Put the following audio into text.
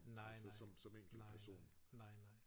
Nej nej nej nej nej nej